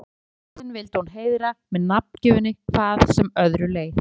En afa sinn vildi hún heiðra með nafngjöfinni hvað sem öðru leið.